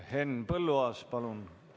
Henn Põlluaas, palun!